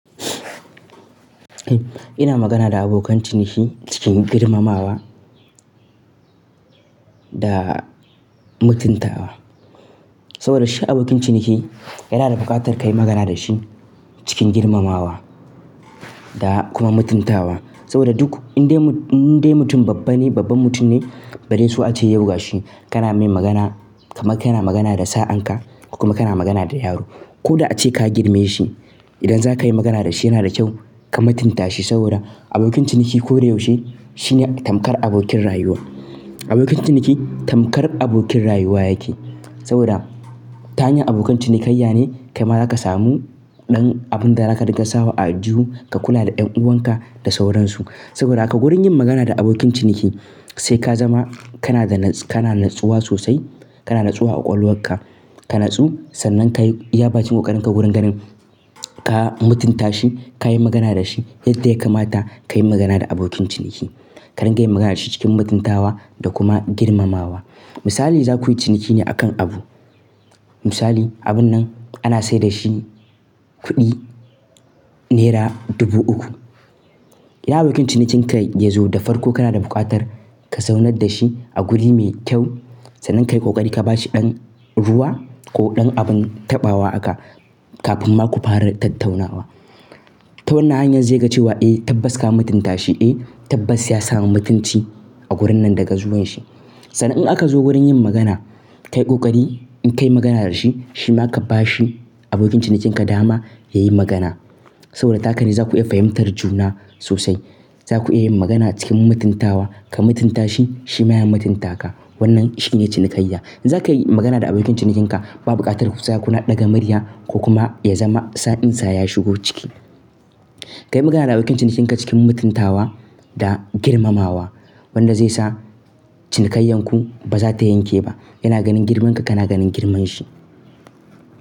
Ina magana da abokan ciniki cikin girmamawa da mutuntawa. Saboda shi abokin ciniki yana da buƙatar ka yi magana da shi cikin girmamawa da kuma mutuntawa. Saboda duk indai mutum babba ne, babban mutum ne bari so a ce yauwa shi. Kana mai magana kamar kana magana da sa'anka kuma kana magana da yaro. Ko da a ce ka girme shi. Idan za ka yi magana da shi yana da kyau ka mutunta shi saboda abokin ciniki koda yaushe shine tamkar abokin rayuwa. Abokin ciniki tamkar abokin rayuwa yake. Saboda ta hanyar abokan ciniki kayya ne kai ma za ka samu ɗan abun da za ka rika sawa a aljihu ka kula da ƴan uwanka da sauransu. Saboda haka wurin yin magana da abokin ciniki sai ka zama kana natsuwa sosai. Kana natsuwa a ƙwaƙwalwarka. Ka natsu sannan ka yi iya bakin ƙoƙarinka wurin ganin ka mutunta shi, ka yi magana da shi yadda ya kamata ka yi magana da abokin ciniki. Ka riƙa yin magana da shi cikin mutuntawa da kuma girmamawa. Misali za ku yi ciniki ne a kan abu. Misali abun nan ana sayar da shi kuɗi nera dubu uku. Yi abokin cinikin ka yazo da farko kana da buƙatar ka saunar da shi a guri me kyau. Sannan ka yi ƙoƙari ka ba shi ɗan ruwa ko ɗan abun taɓawa aka kafin ma ku fara tattaunawa. Ta wannan hanyar zai ga cewa eh tabbas ka mutunta shi. Eh tabbas ya samu mutunci a wurin nan daga zuwan shi. Sannan in aka zo wurin yin magana, ka yi ƙoƙari in ka yi magana da shi, shi ma ka ba shi abokin cinikinka dama ya yi magana. Saboda haka ne za ku iya fahimtar juna sosai. Za ku iya yin magana cikin mutuntawa. Ka mutunta shi, shi ma ya mutunta ka. Wannan shine cinikayya. In za ka yi magana da abokin cinikinka, babu buƙatar ku za kuna ɗaga murya ko kuma ya zama sa'in sa ya shigo ciki. Ka yi magana da abokin cinikinka cikin mutuntawa da girmamawa. Wanda zai sa cinikayyan ku ba za ta yanke ba. Yana ganin girman ka, kana ganin girman shi.